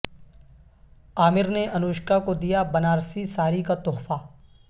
عامر نے انوشکا کو د یا بنارسی ساری کا تحفہ